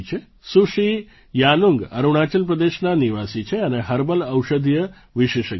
સુશ્રી યાનુંગ અરુણાચલ પ્રદેશનાં નિવાસી છે અને હર્બલ ઔષધીય વિશેષજ્ઞ છે